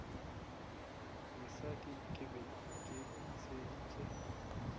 mosadi ke be ke theeditše